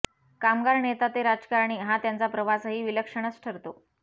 कामगार नेता ते राजकारणी हा त्यांचा प्रवासही विलक्षणच ठरतो